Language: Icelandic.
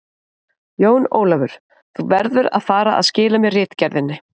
Jón Ólafur, þú verður að fara að skila mér ritgerðinni!